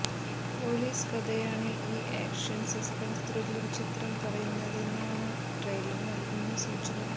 police കഥയാണ് ഈ action suspense thriller ചിത്രം പറയുന്നതെന്നാണ് ട്രെയ്ലർ നൽകുന്ന സൂചന